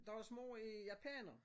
Deres mor er japaner